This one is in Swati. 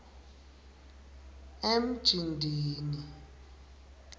emjindini